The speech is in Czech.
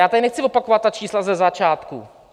Já tady nechci opakovat ta čísla ze začátku.